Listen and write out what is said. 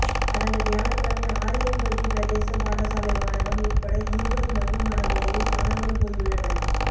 கடந்த வியாழக்கிழமை ஆரையம்பதி பிரதேச பாடசாலை மாணவன் உட்பட இருவர் மர்மமான முறையில் காணாமல் போயுள்ளனர்